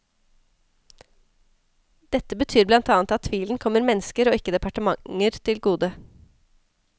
Dette betyr blant annet at tvilen kommer mennesker og ikke departementer til gode.